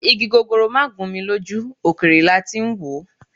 Igi gogoro máà gún mi lójú, òkèèrè lati ń wòó.